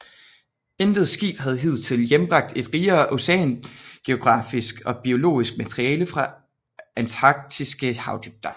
Intet skib havde hidtil hjembragt et rigere oceanografisk og biologisk materiale fra antarktiske havdybder